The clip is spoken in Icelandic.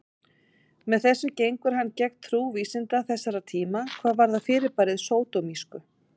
Með þessu gengur hann gegn trú vísinda þessara tíma hvað varðar fyrirbærið sódómísku.